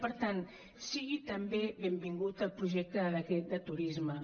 per tant sigui també benvingut el projecte de decret de turisme